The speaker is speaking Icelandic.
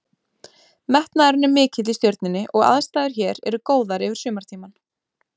Metnaðurinn er mikill í Stjörnunni og aðstæður hér eru góðar yfir sumartímann.